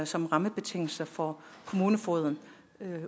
som rammebetingelse for kommunefogeden